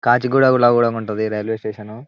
కాచిగూడ లో కూడా ఉంటది రైల్వే స్టేషన్ .